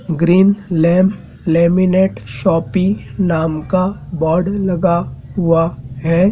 Green lamp laminate shopping नाम का board लगा हुआ है।